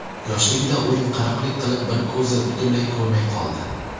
Yoshligida o‘yinqaroqlik qilib, bir ko‘zi butunlay ko‘rmay qoldi.